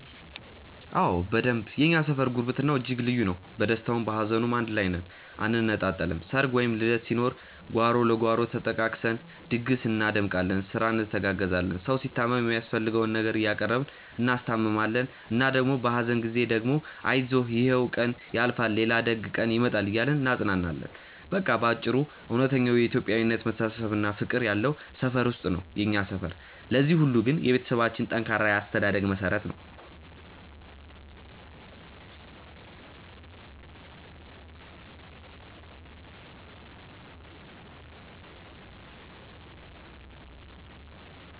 አዎ በደንብ የእኛ ሰፈር ጉርብትናው እጅግ ልዩ ነው። በደስታውም በሀዘኑም አንድ ላይ ነን አንነጣጠልም። ሰርግ ወይም ልደት ሲኖር ጓሮ ለጓሮ ተጠቃቅሰን ድግስ እናደምቃለን፤ ስራ እንተጋገዛለን። ሰው ሲታመም የሚያስፈልገውን ነገር እያቀረብን እናስታምማለን እና ደግሞ በሀዘን ጊዜ ደግሞ አይዞህ ይሕም ቀን ያልፋል ሌላ ደግ ቀን ይመጣል እያልን እናጽናናለን። በቃ በአጭሩ እውነተኛው የኢትዮጵያዊነት መተሳሰብና ፍቅር ያለው ሰፈር ነው የኛ ሰፈር። ለዚህ ሁሉ ግን የቤተሰቦቻችን ጠንካራ የአስተዳደግ መሠረት ነው።